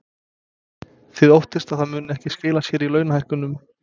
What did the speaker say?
Þið óttist að það muni ekki skila sér í launahækkunum?